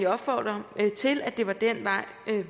opfordre til at det er den vej